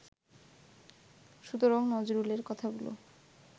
সুতরাং নজরুলের কথাগুলো